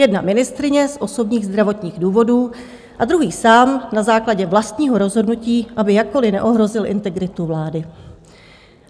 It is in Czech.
Jedna ministryně z osobních zdravotních důvodů a druhý sám na základě vlastního rozhodnutí, aby jakkoliv neohrozil integritu vlády.